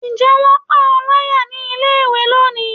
njẹ wón pa o layá ní ilé ìwé loní?